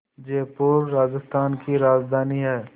जयपुर राजस्थान की राजधानी है